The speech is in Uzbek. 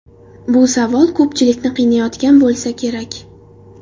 Bu savol ko‘pchilikni qiynayotgan bo‘lsa kerak.